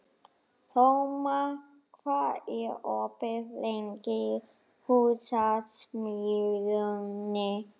Þórmar, hvað er opið lengi í Húsasmiðjunni?